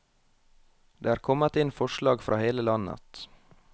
Det er kommet inn forslag fra hele landet.